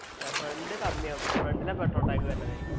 അല്ല front കമ്മിയാവും front ലാ petrol tank വരുന്നതെ